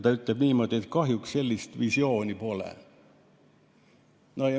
Ta ütles niimoodi, et kahjuks sellist visiooni pole.